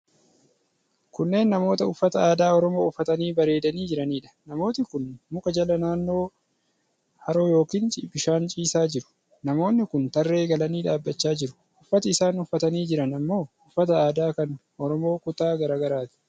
Kunneen namoota uffata aadaa Oromoo uffatanii bareedanii jiraniidha. Namooti kun muka jala naannoo haroo yookiin bishaan ciisaa jiru. Namoonni kun tarree galanii dhaabbachaa jiru. Uffati isaan ufffatanii jiran ammoo uffata aadaa kan Oromooo kutaa garaa garaati.